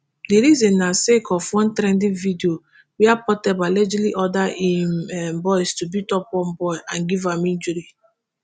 di reason na sake of one trending video wia portable allegedly order im um boys to beat up one boy and give am injury.